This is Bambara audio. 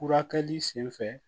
Furakɛli sen fɛ